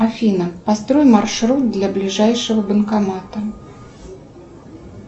афина построй маршрут до ближайшего банкомата